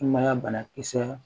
Sumaya banakisɛ